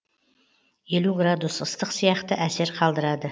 елу градус ыстық сияқты әсер қалдырады